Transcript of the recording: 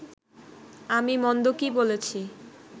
আমি মন্দ কি বলেছি